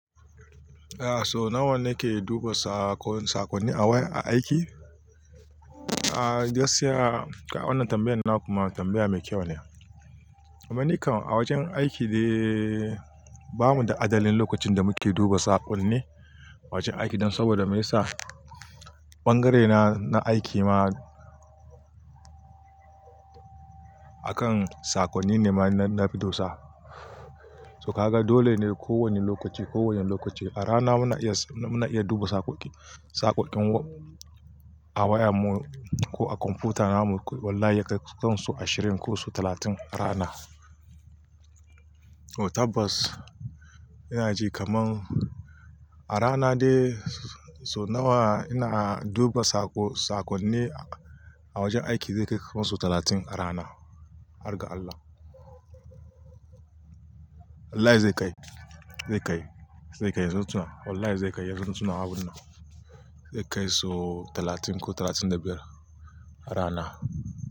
Eh so nawa nake duba saƙon, saƙonni a waya, a aiki? A, gaskiya kai wannan tambayan na kuma tambaya me kyau ne. Kamanni kan a wajen aiki dai bamu da adalin lokacin da muke duba saƙonni. A wajen aiki dan saboda me yasa? Ɓangaren na, na aiki ma akan sakonni ne ma na na, fi dosa. To ka ga dole ne kowane lokaci, kowane lokaci. A rana muna iya, muna iya duba saƙoƙi, saƙoƙin a wayan mu ko a kwamfuta namu. Wallahi yakai ku son so ashirin ko so talatin a rana. O tabbas ina ji kaman a rana dai so nawa ina duba saƙo, saƙonni a wajen aiki zai kai kusan so talatin a rana. Har ga Allah. wAllahi ze kai, ze kai, ze kai, zo tuwa. Wallahi zai kai, yanzu na tuna abun nan. Zai kai so talatin ko talatin da biyar a rana.